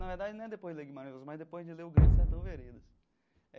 Na verdade, não é depois de ler Guimarães, mas depois de ler o grande Sertão Veredas.